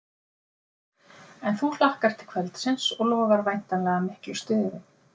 En þú hlakkar til kvöldsins og lofar væntanlega miklu stuði?